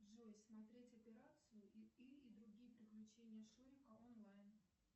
джой смотреть операцию ы и другие приключения шурика онлайн